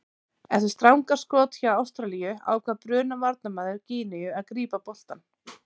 Eftir stangarskot hjá Ástralíu ákvað Bruna varnarmaður Gíneu að grípa boltann.